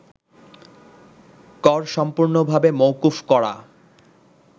কর সম্পূর্ণভাবে মওকুফ করা